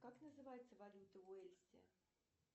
как называется валюта в уэльсе